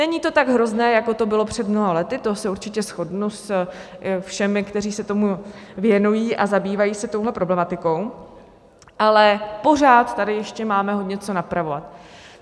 Není to tak hrozné, jako to bylo před mnoha lety, to se určitě shodnu se všemi, kteří se tomu věnují a zabývají se touhle problematikou, ale pořád tady ještě máme hodně co napravovat.